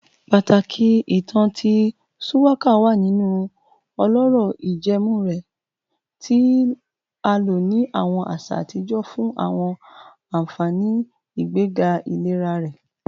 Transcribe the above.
Pataki itan ti shuwaka wa ninu ọlọrọ ijẹẹmu rẹ, ti a lo ni awọn aṣa atijọ fun awọn anfani igbega ilera rẹ